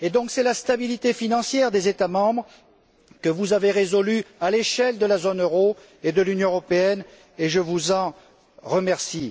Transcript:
C'est la stabilité financière des États membres que vous avez protégée à l'échelle de la zone euro et de l'Union européenne, et je vous en remercie.